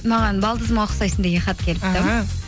маған балдызыма ұқсайсың деген хат келіпті